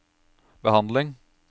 behandling